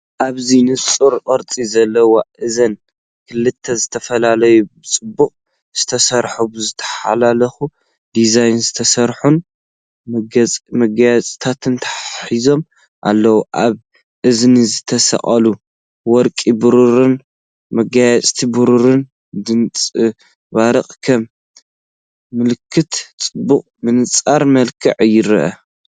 ኣብዚ ንጹር ቅርጺ ዘለዎ እዝኒ ክልተ ዝተፈላለዩን ብጽቡቕ ዝተሰርሑን ብዝተሓላለኸ ዲዛይን ዝተሰርሑን መገየፅታት ተተሓሒዞም ኣለዉ። ኣብ እዝኒ ዝተሰቕለ ወርቅን ብሩርን መገየፅታት ብብርሃን ይንጸባረቕ፡ ከም ምልክት ጽባቐ ብንጹር መልክዕ ይረአ።